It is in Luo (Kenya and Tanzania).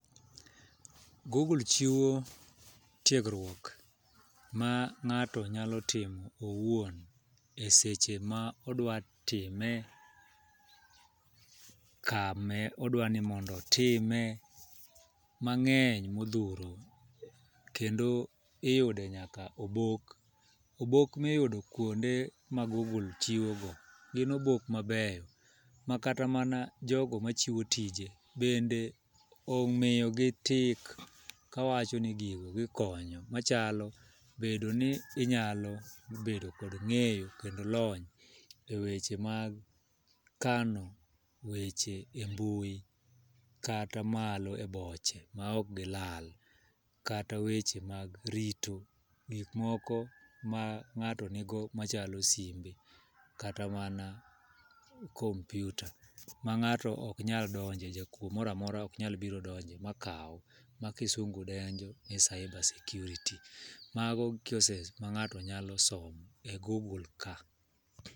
Google chiwo tiegruok ma ngáto nyalo timo owuon, e seche ma odwa time, kama odwa ni mondo otime, mangény modhuro. Kendo iyude nyaka obok. Obok ma iyude kuonde ma Google chiwo go, gin obok mabeyo, ma kata mana jogo machiwo tije bende omiyo gi tick, kawacho ni gigo gikonyo. Machalo bedo ni inyalo bedo kod ngéyo, kod lony e weche mag kano weche e mbui, kata malo e boche ma ok gilal, kata weche mag rito gik moko ma ngáto nigo machalo simbe, kata mana computer ma ngáto ok nyal donje, jakwo moramora ok nyal biro donje ma kau. Ma kisungu dendo ni cyber security. Mago courses ma ngáto nyalo somo e Google ka.